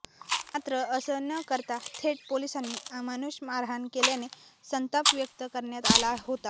मात्र असं न करता थेट पोलिसांनी अमानुष मारहाण केल्याने संताप व्यक्त करण्यात आला होता